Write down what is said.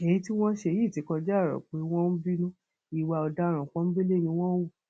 èyí tí wọn ṣe yìí ti kọjá ọrọ pé wọn ń bínú ìwà ọdaràn pọńbélé ni wọn hù